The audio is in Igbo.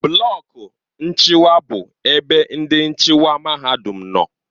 Blọku nchịkwa bụ ebe ndị nchịkwa mahadum nọ.